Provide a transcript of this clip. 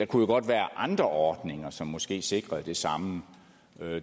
kunne være andre ordninger som måske sikrede det samme